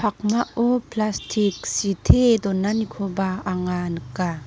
pakmao plastik sitee donanikoba anga nika.